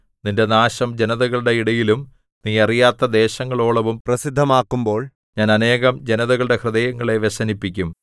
നിന്റെ നാശം ജനതകളുടെ ഇടയിലും നീ അറിയാത്ത ദേശങ്ങളോളവും പ്രസിദ്ധമാക്കുമ്പോൾ ഞാൻ അനേകം ജനതകളുടെ ഹൃദയങ്ങളെ വ്യസനിപ്പിക്കും